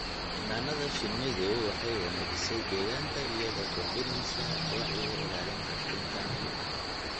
Xannaanada shinnidu waxay wanaajisay deegaanka iyadoo kordhinaysa wacyiga ilaalinta kaynta.